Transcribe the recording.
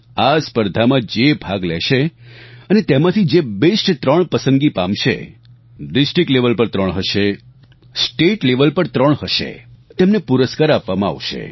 આ સ્પર્ધામાં જે ભાગ લેશે અને તેમાંથી જે બેસ્ટ ત્રણ પસંદગી પામશે ડિસ્ટ્રિક્ટ લેવેલ પર ત્રણ હશે સ્ટેટ લેવેલ પર ત્રણ હશે તેમને પુરસ્કાર આપવામાં આવશે